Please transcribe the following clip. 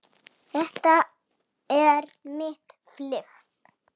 Þetta er mitt fiff.